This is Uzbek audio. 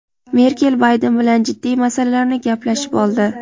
Merkel Bayden bilan jiddiy masalalarni gaplashib oldi.